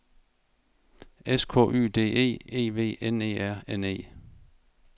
S K Y D E E V N E R N E